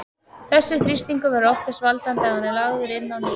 Þessi þrýstingur verður oft þess valdandi að hann er lagður inn á ný.